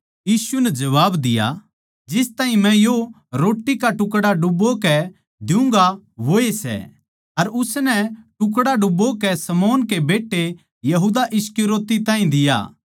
यीशु नै जबाब दिया जिस ताहीं मै यो रोट्टी का टुकड़ा डुबोकै द्युगां वोए सै अर उसनै टुकड़ा डुबोकै शमौन के बेट्टे यहूदा इस्करियोती ताहीं दिया